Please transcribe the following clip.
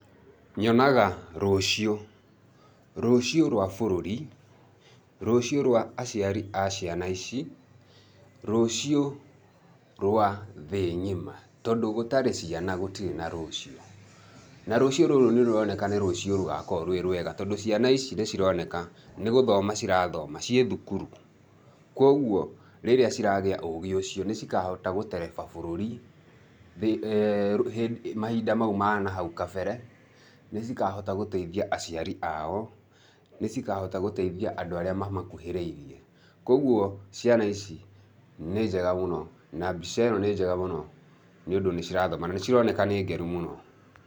Nyonaga rũciũ. Rũciũ rwa bũrũri, rũciũ rwa aciari a ciana ici, rũciũ rwa thĩ ng'ima tondũ gũtarĩ ciana gũtirĩ na rũciũ, na rũciũ rũrũ nĩ rũroneka nĩ rũciũ rũgakorwo rwĩ rwega tondũ ciana ici nĩ cironeka nĩ gũthoma cirathoma , ciĩ thukuru. Kuoguo rĩrĩa ciragĩa ũgĩ ũcio, nĩ cikahota gũtereba bũrũri mahinda mau ma nahau na kabere, nĩ cikahota gũteithia aciari ao, nĩ cikahota gũteithia andũ arĩa mamakuhĩrĩirĩe. Kuoguo ciana ici nĩ njega mũno na mbica ĩno nĩ njega mũno nĩ ũndũ nĩ cirathoma na nĩ cironeka nĩ ngenu mũno.